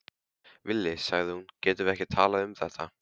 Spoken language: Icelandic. Villi, sagði hún, getum við ekki talað um þetta?